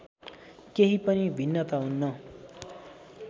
केही पनि भिन्नता हुन्न